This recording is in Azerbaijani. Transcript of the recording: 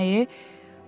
İncimə.